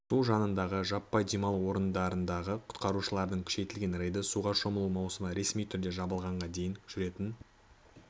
су жанындағы жаппай демалу орындарындағы құтқарушылардың күшейтілген рейді суға шомылу маусымы ресми түрде жабылғанға дейін жүретін